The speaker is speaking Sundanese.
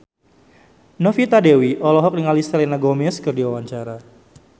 Novita Dewi olohok ningali Selena Gomez keur diwawancara